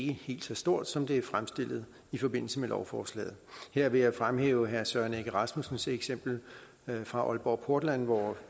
er helt så stort som det er fremstillet i forbindelse med lovforslaget her vil jeg fremhæve herre søren egge rasmussens eksempel fra aalborg portland hvor